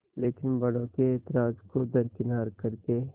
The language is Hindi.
लेकिन बड़ों के ऐतराज़ को दरकिनार कर के